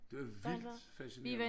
Det var vildt fascinerende